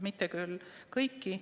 Mitte küll kõiki, aga pisteliselt.